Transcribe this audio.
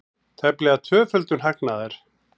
Tæplega tvöföldun hagnaðar